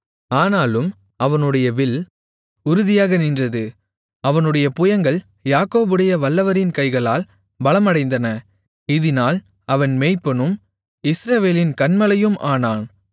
ஆனாலும் அவனுடைய வில் உறுதியாக நின்றது அவனுடைய புயங்கள் யாக்கோபுடைய வல்லவரின் கைகளால் பலமடைந்தன இதினால் அவன் மேய்ப்பனும் இஸ்ரவேலின் கன்மலையும் ஆனான்